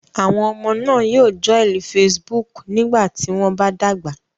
Àwọn ọmọ náà yóò joil Facebook nígbà tí wọ́n bá dàgbà.